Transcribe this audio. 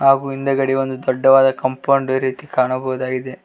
ಹಾಗು ಹಿಂದೆಗಡೆ ಒಂದು ದೊಡ್ಡವಾದ ಕಂಪೌಂಡ್ ರೀತಿ ಕಾಣಬಹುದಾಗಿದೆ.